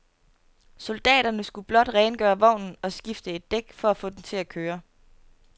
Soldaterne skulle blot rengøre vognen og skifte et dæk for at få den til at køre.